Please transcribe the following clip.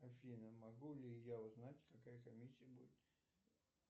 афина могу ли я узнать какая комиссия будет